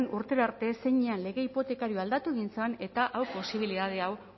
urtera arte zeinean lege hipotekarioa aldatu egin zen eta hau posibilitate hau